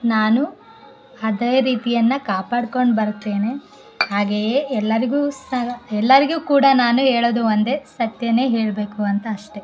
ನಾನು ಹದೇ ರೀತಿಯನ್ನು ಕಾಪಾಡ್ಕೊಂಡು ಬರ್ತೇನೆ ಹಾಗೆಯೆ ಎಲ್ಲರಿಗೂ ಸ ಎಲ್ಲರಿಗೂ ಕೂಡ ನಾನು ಹೇಳುವುದು ಒಂದೇ ಸತ್ಯನೇ ಹೇಳ್ಬೇಕು ಅಂತ ಅಷ್ಟೇ.